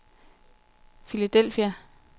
Philadelphia